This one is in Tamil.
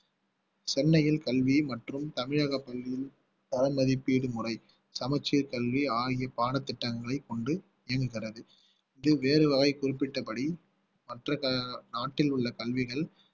சென்னையில் கல்வி மற்றும் தமிழக பள்ளியில் பண மதிப்பீடு முறை சமச்சீர் கல்வி ஆகிய பாடத்திட்டங்களை கொண்டு இயங்குகிறது இது வேறு வரை குறிப்பிட்டபடி மற்ற நாட்டில் உள்ள கல்விகள்